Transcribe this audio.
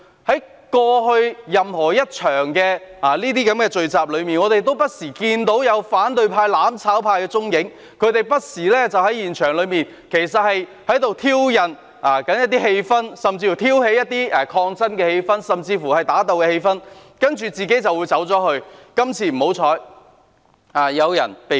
在過去這類聚集中，我們不時看到反對派、"攬炒派"的蹤影，他們不時在現場挑釁，挑起一些抗爭甚至打鬥的氣氛，然後便離開，只是今次不幸有人被捕。